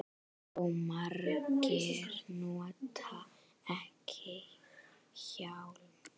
Og margir nota ekki hjálm.